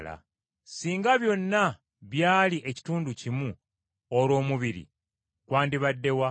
Singa byonna byali ekitundu kimu olwo omubiri gwandibadde wa?